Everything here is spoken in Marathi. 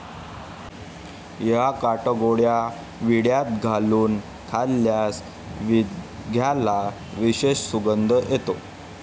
या काटगोळ्या विड्यात घालून खाल्ल्यास विद्याला विशेष सुगंध येतो.